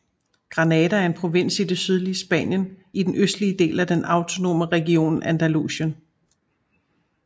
Granada er en provins i det sydlige Spanien i den østlige del af den autonome region Andalusien